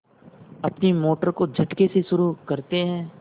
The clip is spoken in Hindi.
अपनी मोटर को झटके से शुरू करते हैं